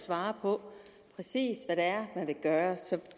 svar på præcis hvad det er man vil gøre så